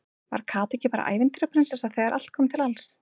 Var Kata ekki bara ævintýra- prinsessa þegar allt kom til alls?